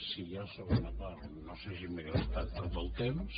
si hi ha segona part no sé si m’he gastat tot el temps